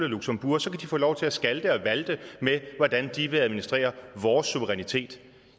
luxembourg så kan de få lov til at skalte og valte med hvordan de vil administrere vores suverænitet